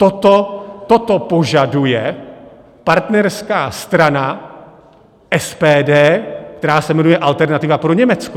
Toto požaduje partnerská strana SPD, která se jmenuje Alternativa pro Německo.